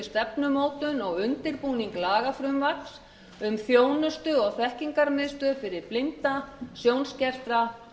stefnumótun og undirbúning lagafrumvarps um þjónustu og þekkingarmiðstöð fyrir blinda sjónskerta